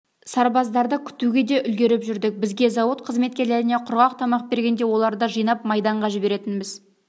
сарбаздарды күтуге де үлгеріп жүрдік бізге зауыт қызметкерлеріне құрғақ тамақ бергенде оларды жинап майданға жіберетінбіз